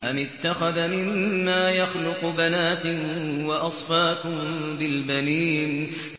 أَمِ اتَّخَذَ مِمَّا يَخْلُقُ بَنَاتٍ وَأَصْفَاكُم بِالْبَنِينَ